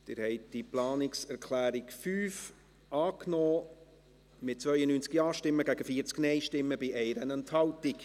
Sie haben die Planungserklärung 5 angenommen, mit 92 Ja- gegen 40 Nein-Stimmen bei 1 Enthaltung.